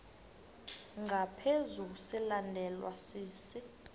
ngaphezu silandelwa sisi